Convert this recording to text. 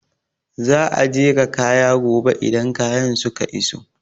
Za a jera kaya gobe idan kayan suka iso